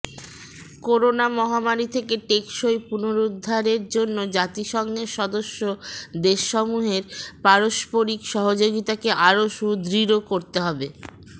corona মহামারি থেকে টেকসই পুনরুদ্ধারের জন্য জাতিসংঘের সদস্য দেশসমূহের পারস্পরিক সহযোগিতাকে আরও সুদৃঢ় করতে হবে